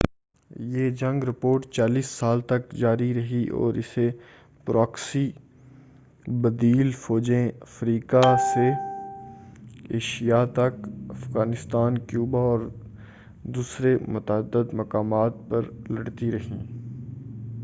یہ جنگ رپورٹ 40 سال تک جاری رہی اور اسے پراکسی بدیل فوجیں افریقہ سے ایشیا تک، افغانستان، کیوبا اور دوسرے متعدد مقامات پر لڑتی رہیں۔